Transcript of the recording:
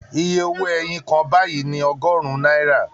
Iye owó ẹyin kan báyìí ni ọgọ́rùn-ún náírà